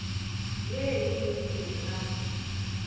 ye e lego hleng ga